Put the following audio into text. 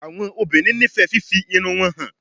Awọn obinrin nifẹ fifi irun wọn han